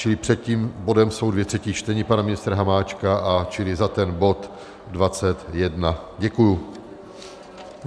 Čili před tím bodem jsou dvě třetí čtení pana ministra Hamáčka, čili za ten bod 21. Děkuji.